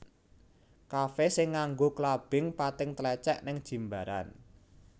Kafe sing nggo clubbing pating tlecek ning Jimbaran